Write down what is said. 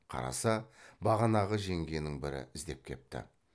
қараса бағанағы жеңгенің бірі іздеп кепті